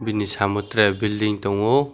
bini samo tere bilding tongo.